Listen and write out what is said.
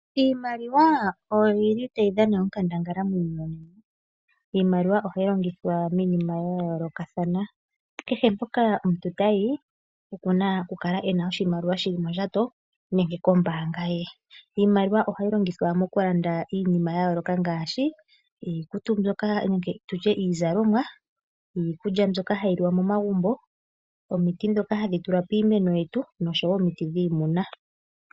Iimaliwa oyo tayi dhana onkandangala muuyuni. Ohayi longithwa okulanda iinima oyindji kehe mpoka omuntu tayi okuna oku kala ena oshimaliwa shili mondjato nenge kombaanga ye. Ohayi longithwa okulanda iikulya yomomagumbo, iikutu, omiti dhopiimeno, noshowo omiti dhiimuna.